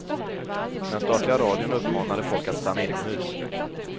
Den statliga radion uppmanade folk att stanna inomhus.